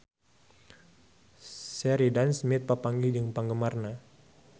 Sheridan Smith papanggih jeung penggemarna